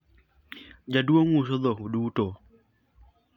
jaduong uso dhok duto